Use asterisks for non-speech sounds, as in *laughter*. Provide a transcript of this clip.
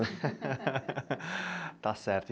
*laughs* Está certo.